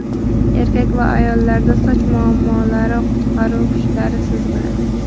Erkak va ayollarda soch muammolari qutqaruv kuchlari siz bilan!.